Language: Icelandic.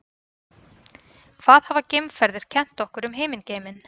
hvað hafa geimferðir kennt okkur um himingeiminn